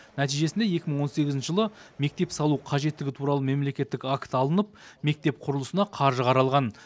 нәтижесінде екі мың он сегізінші жылы мектеп салу қажеттігі туралы мемлекеттік акт алынып мектеп құрылысына қаржы қаралған